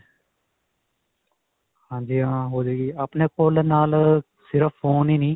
ਹਾਂਜੀ ਹਾਂ. ਹੋ ਜਾਵੇਗੀ. ਆਪਣੇ ਕੋਲ ਨਾਲ ਸਿਰਫ phone ਹੀ ਨਹੀਂ.